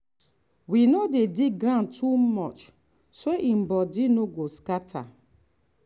we no dey dig ground too much so e body no go scatter.